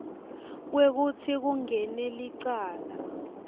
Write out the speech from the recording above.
kwekutsi kungene licala